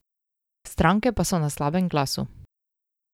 Stranke pa so na slabem glasu.